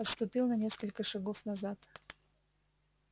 отступил на несколько шагов назад